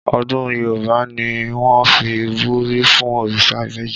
Ọdún Yorùbá ni wọ́n fi ń buyì fún òrìṣà ìbejì